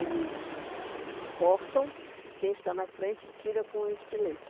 Eles cortam e quem está na frente tira com estilete.